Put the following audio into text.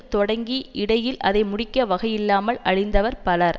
தொடங்கி இடையில் அதை முடிக்க வகையில்லாமல் அழிந்தவர் பலர்